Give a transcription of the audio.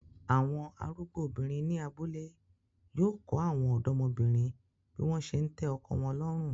Awọn arugbo obinrin ni abule yóò kọ awọn ọdọmobinrin bi wọn se ńtẹ ọ̇kọ wọn lọrun